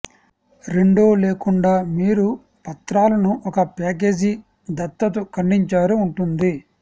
రెండో లేకుండా మీరు పత్రాలను ఒక ప్యాకేజీ దత్తత ఖండించారు ఉంటుంది